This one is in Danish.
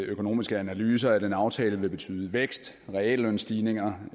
økonomiske analyser at en aftale vil betyde vækst reallønstigninger